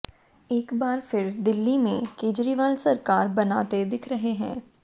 एक बार फिर दिल्ली में केजरीवाल सरकार बनाते दिख रहे हैं